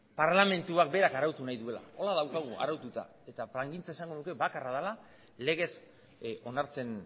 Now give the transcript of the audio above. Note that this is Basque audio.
parlamentua berak arautu nahi duela horrela daukagu araututa eta plangintza esango nuke bakarra dela eta legez onartzen